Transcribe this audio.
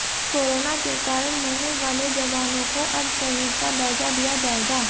corona के कारण मरने वाले जवानों को अब शहीद का दर्जा दिया जाएगा